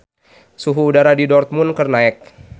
Suhu udara di Dortmund keur naek